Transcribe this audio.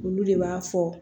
Olu de b'a fɔ